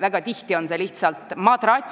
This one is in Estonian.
väga tihti on see lihtsalt madrats.